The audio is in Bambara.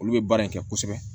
Olu bɛ baara in kɛ kosɛbɛ